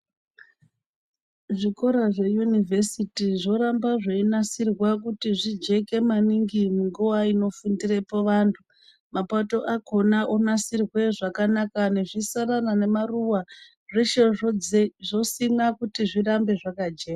Zvikora zveyunivhesiti zvoramba zveinasirwa kuti zvijeke maningi maningi munguwa inofumdirepo antu mapato akhona onasirwe zvakanaka nezvisarara nemaruwa zveshe zvodzi zvosimwa kuti zvirambe zvakajeka..